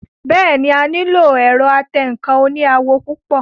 Bẹ́ẹ̀ni, a nílò ẹ̀rọ atẹǹkan oní àwọ̀ púpọ̀